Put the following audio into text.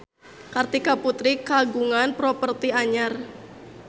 Kartika Putri kagungan properti anyar